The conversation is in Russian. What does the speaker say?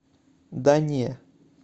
да не